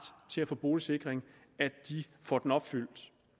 til at få boligsikring får den opfyldt